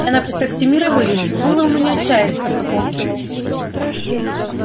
я на проспекте мира вылез было у меня чая с собой полкило